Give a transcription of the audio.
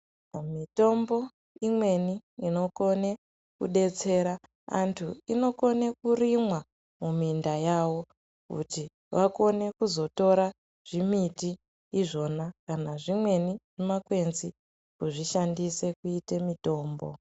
Mitombo imweni inokone kudetsera vantu inokone kurimwa muminda yavo kuti vakone kuzotora zvimiti izvona kana zvimweni mumakwenzi kuzvishandisa kuite mutombo.